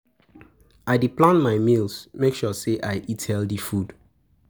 I dey plan my meals, make sure sey I eat healthy food.